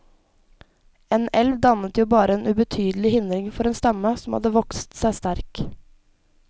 En elv dannet jo bare en ubetydelig hindring for en stamme som hadde vokset seg sterk.